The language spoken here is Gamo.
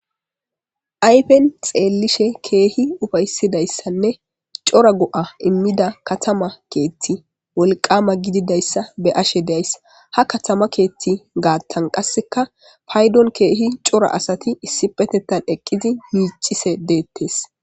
ayfen xeellishe keehi ufaysidayssanne cora go7a immida katama keethti wolqama gididayssa be ashe days ha katama keethti gaattan qasseka paydon keehi cora asati issipetettan eqqizi yiiccise deettes